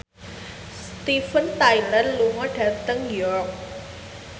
Steven Tyler lunga dhateng York